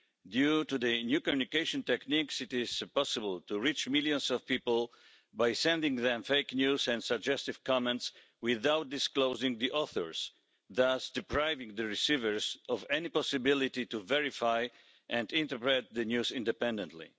Due to the new communication techniques, it is possible to reach millions of people by sending them fake news and suggestive comments without disclosing the authors, thus depriving the receivers of any possibility to verify and interpret the news independently.